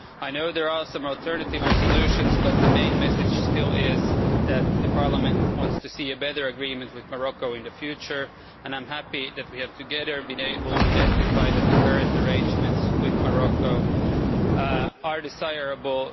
I know there are some alternative resolutions, but the main message remains that Parliament wants to see a better agreement with Morocco in the future, and I am happy that, together, we have been able to identify that the current arrangements with Morocco are desirable.